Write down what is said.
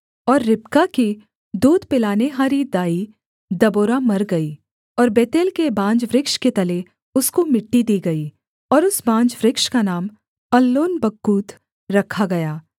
और रिबका की दूध पिलानेहारी दाई दबोरा मर गई और बेतेल के बांज वृक्ष के तले उसको मिट्टी दी गई और उस बांज वृक्ष का नाम अल्लोनबक्कूत रखा गया